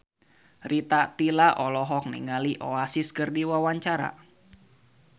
Rita Tila olohok ningali Oasis keur diwawancara